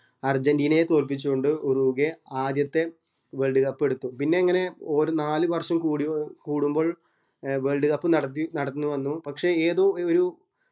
അർജന്റീനയെ തോല്പിച്ച് കൊണ്ട് ഉറോഗ്യ ആദ്യത്തെ world cup പിന്നെ അങ്ങനെ ഒര് നാല് വര്‍ഷം കൂടി കൂടുമ്പോൾ world cup നടത്തി നടന്നു വന്നു